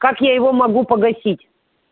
как я его могу погасить